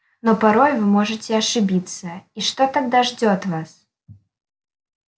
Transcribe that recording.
но порой вы можете ошибиться и что тогда ждёт вас